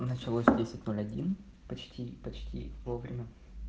началось десять ноль один почти почти вовремя